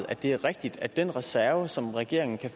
det er rigtigt at den reserve som regeringen kan